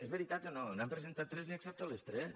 és veritat o no n’han presentades tres li accepto les tres